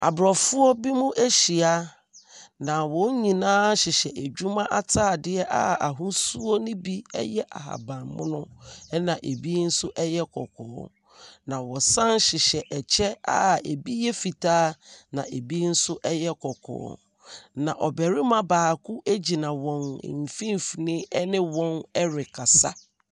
Aborɔfo binom ahyia, na wɔn nyinaa hyehyɛ adwuma atadeɛ a ahosuo no bi yɛ ahabammono, ɛna ɛbi nso yɛ kɔkɔɔ, na wɔdsane hyehyɛ ɛkyɛ a ɛbi yɛ fitaa. Na ɛbi nso yɛ kɔkɔɔ. Na ɔbarima baako gyina wɔn mfimfini ne wɔn rekasa.